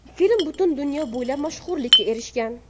Film butun dunyo bo‘ylab mashhurlikka erishgan.